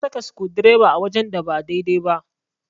Na saka sukudireba wajen da ba daidai ba.